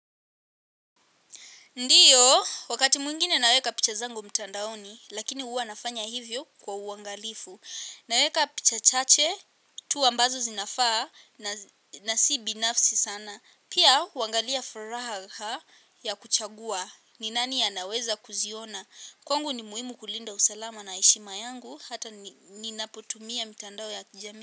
Ndiyo, wakati mwingine naweka picha zangu mtandaoni. Lakini huwa nafanya hivyo kwa uangalifu. Naweka picha chache, tu ambazo zinafaa na si binafsi sana. Pia, uangalia furaha ya kuchagua, ni nani anaweza kuziona. Kwangu ni muhimu kulinda usalama na heshima yangu, hata ninapotumia mitandao ya kijami.